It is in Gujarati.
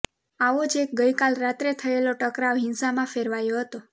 આવો જ એક ગઇકાલ રાત્રે થયેલો ટકરાવ હિંસામાં ફેરવાયો હતો